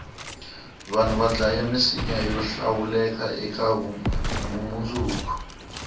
vanhu vadlaya misinya yohlawuleka ekavumundzuku